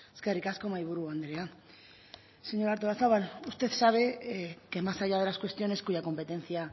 eskerrik asko mahaiburu andrea señora artolazabal usted sabe que más allá de las cuestiones cuya competencia